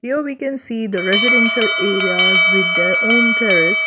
Here we can see the residential areas with their own terrace.